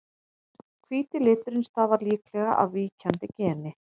hvíti liturinn stafar líklega af víkjandi geni